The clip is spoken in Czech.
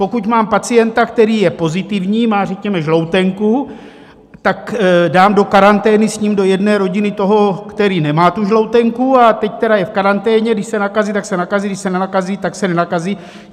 Pokud mám pacienta, který je pozitivní, má řekněme žloutenku, tak dám do karantény s ním do jedné rodiny toho, který nemá tu žloutenku, a teď tedy je v karanténě, když se nakazí, tak se nakazí, když se nenakazí, tak se nenakazí?